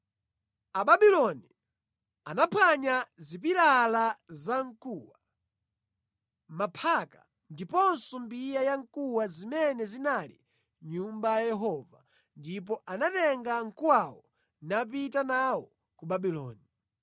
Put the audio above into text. Ababuloni anaphwanya zipilala zamkuwa, maphaka ndiponso mbiya ya mkuwa zimene zinali mʼNyumba ya Yehova ndipo anatenga mkuwawo napita nawo ku Babuloni.